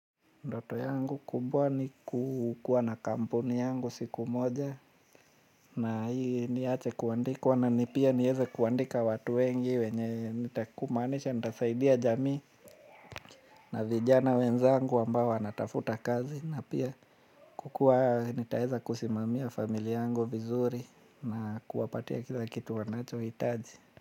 Ndoto yangu kubwa ni kukuwa na kampuni yangu siku moja na hii niache kuandikwa na ni pia nieze kuandika watu wengi wenye nitakumanisha nitasaidia jamii na vijana wenzangu ambao wanatafuta kazi na pia kukuwa nitaeza kusimamia familia yangu vizuri na kuwapatia kila kitu wanacho hitaji.